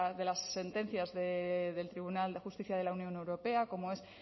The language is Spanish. de las sentencias del tribunal de justicia de la unión europea como es